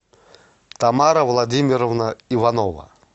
тамара владимировна иванова